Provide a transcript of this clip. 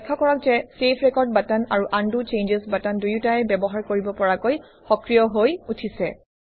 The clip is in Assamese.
লক্ষ্য কৰক যে চেভ ৰেকৰ্ড বাটন আৰু উণ্ড চেঞ্জছ বাটন দুয়োটাই ব্যৱহাৰ কৰিব পৰাকৈ সক্ৰিয় হৈ উঠিছে